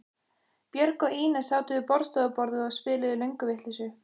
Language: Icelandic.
Björg og Ína sátu við borðstofuborðið og spiluðu lönguvitleysu.